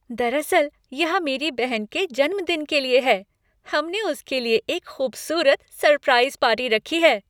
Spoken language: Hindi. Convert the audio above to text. दरअसल, यह मेरी बहन के जन्मदिन के लिए है। हमने उसके लिए एक खूबसूरत सरप्राइज़ पार्टी रखी है।